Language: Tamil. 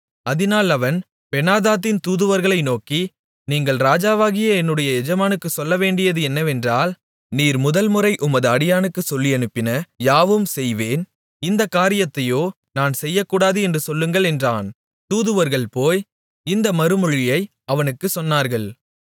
அதினால் அவன் பெனாதாத்தின் தூதுவர்களை நோக்கி நீங்கள் ராஜாவாகிய என்னுடைய எஜமானுக்குச் சொல்லவேண்டியது என்னவென்றால் நீர் முதல்முறை உமது அடியானுக்குச் சொல்லியனுப்பின யாவும் செய்வேன் இந்தக் காரியத்தையோ நான் செய்யக்கூடாது என்று சொல்லுங்கள் என்றான் தூதுவர்கள் போய் இந்த மறுமொழியை அவனுக்குச் சொன்னார்கள்